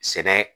Sɛnɛ